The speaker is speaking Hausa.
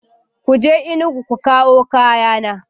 Ku je Enugu ku kawo kayana!